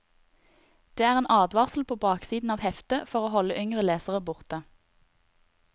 Det er en advarsel på baksiden av heftet for å holde yngre lesere borte.